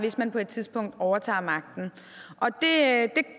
hvis man på et tidspunkt overtager magten